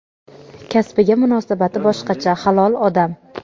Kasbiga munosabati boshqacha, halol odam.